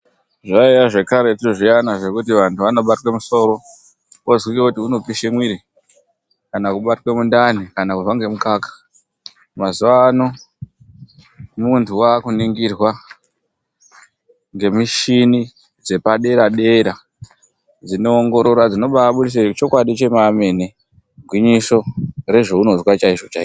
zvaiya zvekaretu zviyana zvekuti anhu anobatwe musoro ozwike kuti unopishe muiri kana kubatwe mundani kana kurwa ngemukaka mazuano muntu wakuningirwa ngemushini dzepadera dera dzinoongorora dzinobabudisa chokwandi chemamene gwinyiso rezvaunozwa chaizvo chaizvo